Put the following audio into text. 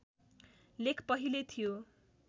लेख पहिल्यै थियो